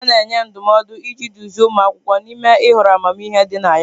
A na-enye ndụmọdụ iji duzie ụmụ akwụkwọ n'ime ihọrọ amamihe dị na ya.